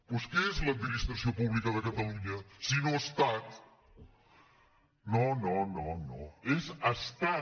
doncs què és l’administra·ció pública de catalunya sinó estat no no no és estat